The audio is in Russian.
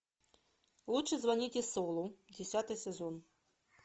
лучше звоните солу десятый сезон